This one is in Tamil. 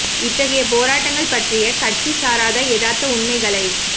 இத்தகைய போராட்டங்கள் பற்றிய கட்சி சாராத யதார்த்த உண்மைகளை